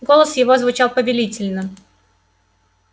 голос его звучал повелительно